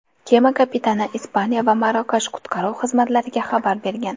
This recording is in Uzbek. Kema kapitani Ispaniya va Marokash qutqaruv xizmatlariga xabar bergan.